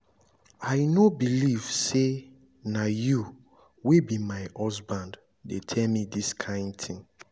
i no believe say na you wey be my husband dey tell me dis kin thing